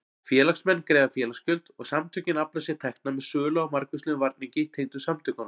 Félagsmenn greiða félagsgjöld og samtökin afla sér tekna með sölu á margvíslegum varningi tengdum samtökunum.